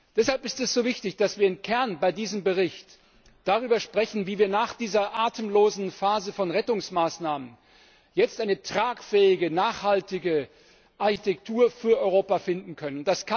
Deshalb ist es so wichtig, dass wir im Kern bei diesem Bericht darüber sprechen, wie wir nach dieser atemlosen Phase von Rettungsmaßnahmen jetzt eine tragfähige und nachhaltige Architektur für Europa finden können.